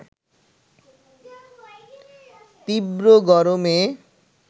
তীব্র গরমে